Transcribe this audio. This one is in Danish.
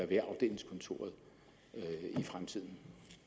ved afdelingskontoret i fremtiden